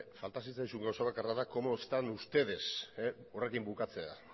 falta zitzaizun gauza bakarra da cómo están ustedes horrekin bukatzea